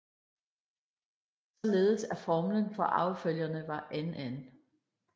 Således at formlen for arvefølgerne var NN